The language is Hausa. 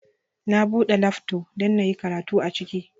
Na bude lafto don inyi karatu aciki